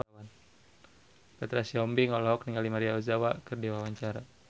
Petra Sihombing olohok ningali Maria Ozawa keur diwawancara